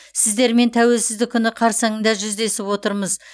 сіздермен тәуелсіздік күні қарсаңында жүздесіп отырмыз